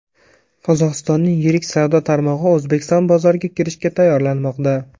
Qozog‘istonning yirik savdo tarmog‘i O‘zbekiston bozoriga kirishga tayyorlanmoqda.